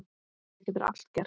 Það getur allt gerst.